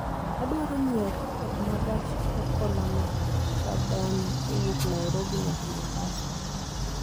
Adwaro nyiewo tiket ma gach okoloma rajdhani kowuok nairobi nyaka mombasa